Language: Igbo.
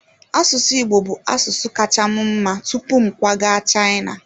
Asụsụ Igbo bụ asụsụ kacha m mma tupu m kwaga China.